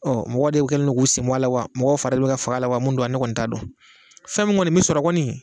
Ɔ mɔgɔ de kɛlen don k'u senbɔ a la wa mɔgɔ fari de bɛ ka ka faga a la wa min don ne kɔni t'a dɔn, fɛn min kɔni bɛ sɔrɔ kɔni